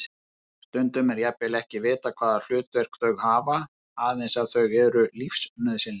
Stundum er jafnvel ekki vitað hvaða hlutverk þau hafa, aðeins að þau eru lífsnauðsynleg.